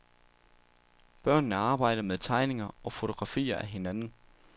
Børnene arbejder med tegninger og fotografier af hinanden.